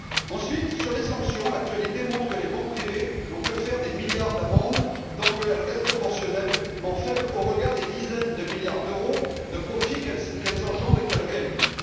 Ensuite sur les sanctions, l'actualité montre que les banques privées n'ont que faire des milliards d'amendes tant qu'elles restent proportionnellement faibles au regard des dizaines de milliards d'euros de profits qu'elles engendrent et qu'elles réalisent.